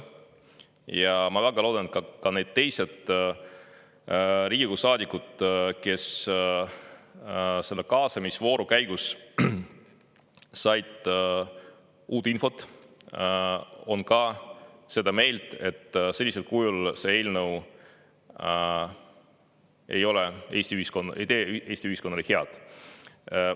Ja ma väga loodan, et ka teised Riigikogu saadikud, kes selle kaasamisvooru käigus said uut infot, on ka seda meelt, et sellisel kujul see eelnõu ei tee Eesti ühiskonnale head.